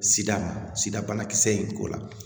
Sida sida banakisɛ in ko la